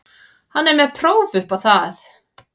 Hann er með próf upp á það.